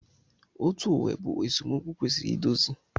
Otu uwe bụ esemokwu kwesịrị idozi.